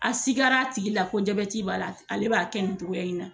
A sigila a tigi la ko jabɛti b'a la ale b'a kɛ nin togoya in na